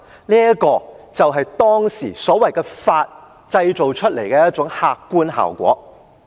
這便是當時所謂的"法"所製造出來的客觀效果。